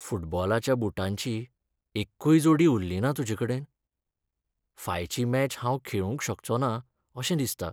फुटबॉलाच्या बुटांची एक्कूय जोडी उरलीना तुजेकडेन? फायची मॅच हांव खेळूंक शकचोंना अशें दिसता.